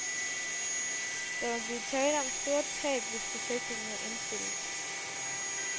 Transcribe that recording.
Der vil blive tale om store tab, hvis projektet må indstilles.